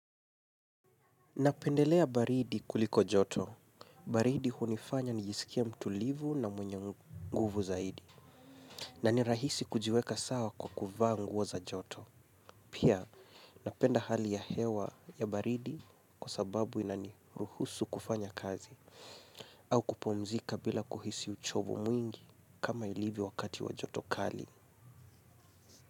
Napendelea baridi kuliko joto. Baridi hunifanya nijisikie mtulivu na mwenye nguvu zaidi. Na ni rahisi kujiweka sawa kwa kuvaa nguo za joto. Pia napenda hali ya hewa ya baridi kwa sababu ina ni ruhusu kufanya kazi. Au kupumzika bila kuhisi uchovu mwingi kama ilivyo wakati wa joto kali.